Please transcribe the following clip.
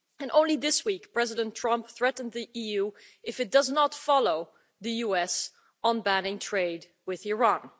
Only this week, President Trump threatened the EU if it does not follow the US on banning trade with Iran.